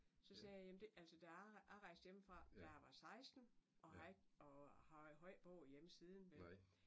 Så sagde jeg jamern det altså da jeg jeg rejste hjemmefra da jeg var 16 og har ikke og har ikke boet hjemme siden vel